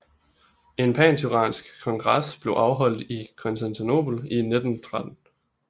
En panturansk kongres blev afholdt i Konstantinopel i 1913